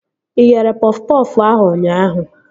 Ị ghere pọf pọfụ ahụ ụnyaahụ?